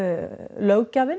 löggjafinn